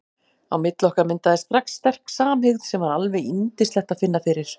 Á milli okkar myndaðist strax sterk samhygð sem var alveg yndislegt að finna fyrir.